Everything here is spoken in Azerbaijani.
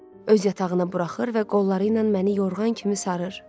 Öz yatağına buraxır və qolları ilə məni yorğan kimi sarır.